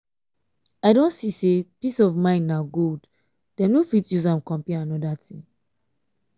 i don see say peace of mind na gold dem no fit use am compare anoda thing